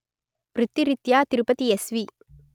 వృత్తి రీత్యా తిరుపతి ఎస్వి